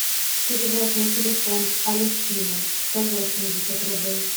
перевод на телефон алефтины сто восемьдесят рублей